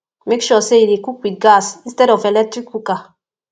mek sure say yu dey cook wit gas instead of electric cooker